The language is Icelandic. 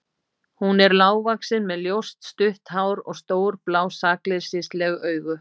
Hún er lágvaxin með ljóst, stutt hár og stór, blá sakleysisleg augu.